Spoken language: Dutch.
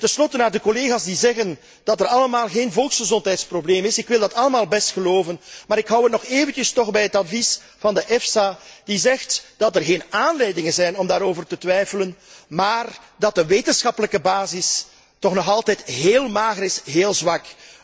Ten slotte aan de collega's die zeggen dat er helemaal geen volksgezondheidsprobleem is ik wil dat allemaal best geloven, maar ik houd het toch nog eventjes bij het advies van de EFSA, die zegt dat er geen aanleidingen zijn om daarover te twijfelen, maar dat de wetenschappelijke basis nog altijd heel mager is, heel zwak.